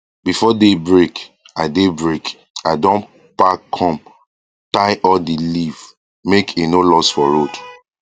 before day break i day break i don pack com tie all d leaf make e noe loss for road